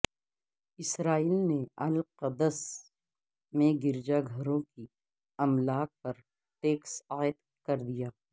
اسرائیل نے القدس میں گرجا گھروں کی املاک پر ٹیکس عاید کر دیا